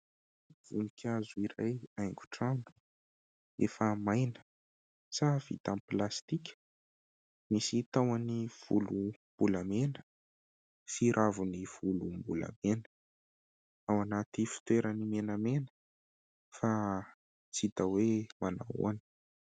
Voninkazo iray haingo trano efa maina sa vita amin'ny plastika, misy tahony volombolamena sy raviny volombolamena ao anaty fitoerany menamena fa tsy hita hoe manao ahoana.